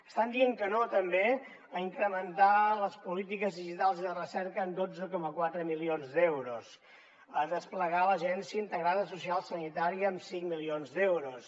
estan dient que no també a incrementar les polítiques digitals i de recerca en dotze coma quatre milions d’euros a desplegar l’agència d’atenció integrada social i sanitària amb cinc milions d’euros